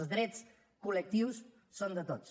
els drets col·lectius són de tots